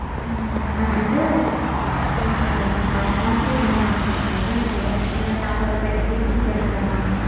ம்ம். அது வந்து so நீங்க monthly வரணும்னு ஆச படறீங்களா sir இல்ல எல்லா pack ஓட price details தெரிஞ்சுக்கணுமா?